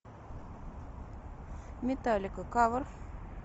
металлика кавер